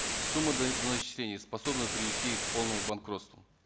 сумма доначислений способна привести их к полному банкротству